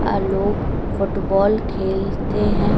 आ लोग फुटबॉल खेलते हैं।